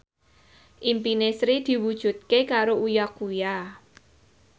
impine Sri diwujudke karo Uya Kuya